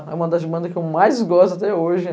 É uma das bandas que eu mais gosto até hoje.